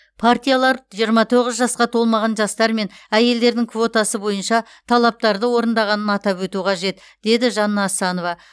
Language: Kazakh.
партиялар жиырма тоғыз жасқа толмаған жастар мен әйелдердің квотасы бойынша талаптарды орындағанын атап өту қажет деді жанна асанова